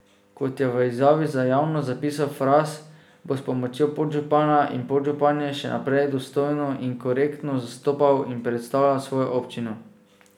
Kot je v izjavi za javnost zapisal Fras, bo s pomočjo podžupana in podžupanje še naprej dostojno in korektno zastopal in predstavljal svojo občino.